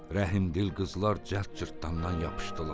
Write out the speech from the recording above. Rəhmdil qızlar cəld cırtdandan yapışdılar.